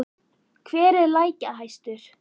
Hver er leikjahæstur?